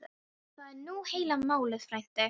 Það er nú heila málið frændi.